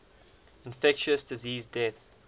infectious disease deaths